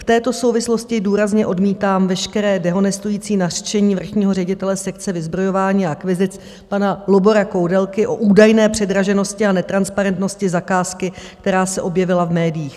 V této souvislosti důrazně odmítám veškeré dehonestující nařčení vrchního ředitele sekce vyzbrojování a akvizic pana Lubora Koudelky o údajné předraženosti a netransparentnosti zakázky, která se objevila v médiích.